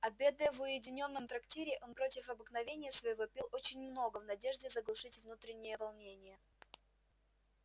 обедая в уединённом трактире он против обыкновения своего пил очень много в надежде заглушить внутреннее волнение